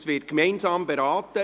Diese werden gemeinsam beraten.